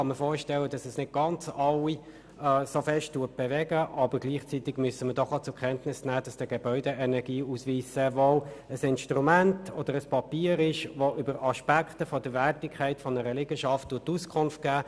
Ich kann mir vorstellen, dass das nicht alle Leute tief bewegt, aber gleichzeitig müssen wir auch zur Kenntnis nehmen, dass der Gebäudeenergieausweis sehr wohl ein Instrument oder ein Papier ist, das über Aspekte der Wertigkeit einer Liegenschaft Auskunft gibt.